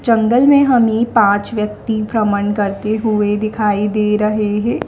जंगल में हमें पांच व्यक्ति भ्रमण करते हुए दिखाई दे रहे है।